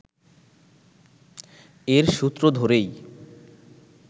এর সূত্র ধরেই